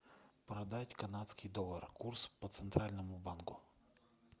продать канадский доллар курс по центральному банку